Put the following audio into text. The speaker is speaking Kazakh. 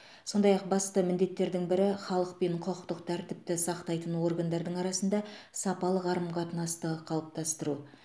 сондай ақ басты міндеттердің бірі халық пен құқықтық тәртіпті сақтайтын органдардың арасында сапалы қарым қатынасты қалыптастыру